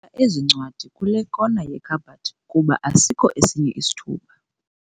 ezi ncwadi kule kona yekhabhathi kuba asikho esinye isithuba.